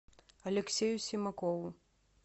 алексею симакову